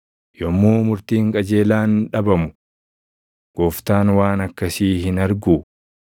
yommuu murtiin qajeelaan dhabamu, Gooftaan waan akkasii hin arguu?